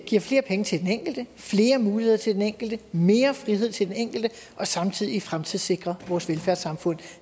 giver flere penge til den enkelte flere muligheder til den enkelte mere frihed til den enkelte og samtidig fremtidssikrer vores velfærdssamfund